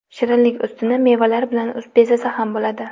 Shirinlik ustini mevalar bilan bezasa ham bo‘ladi.